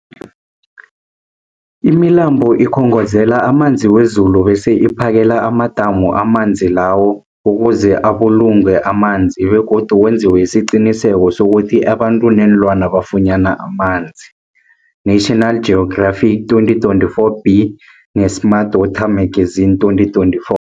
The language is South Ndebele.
Imilambo ikhongozela amanzi wezulu bese iphakele amadamu amanzi lawo ukuze abulungwe amanzi begodu kwenziwe isiqiniseko sokuthi abantu neenlwana bafunyana amanzi, National Geographic 2024b, ne-Smart Water Magazine 2024.